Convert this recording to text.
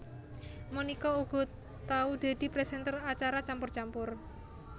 Monica uga tau dadi presenter acara Campur Campur